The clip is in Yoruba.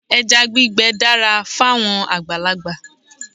Ẹja gbígbẹ dára fáwọn àgbàlagbà